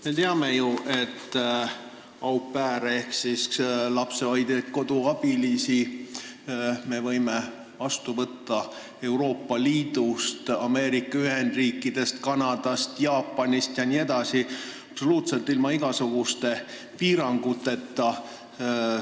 Me teame, et au pair'e ehk siis lapsehoidjaid-koduabilisi me võime vastu võtta Euroopa Liidust, Ameerika Ühendriikidest, Kanadast, Jaapanist ja mujaltki absoluutselt ilma igasuguste piiranguteta.